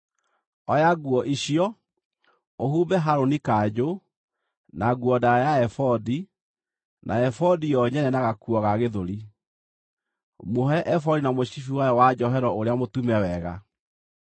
Oya nguo icio, ũhumbe Harũni kanjũ, na nguo ndaaya ya ebodi, na ebodi yo nyene na gakuo ga gĩthũri. Muohe ebodi na mũcibi wayo wa njohero ũrĩa mũtume wega.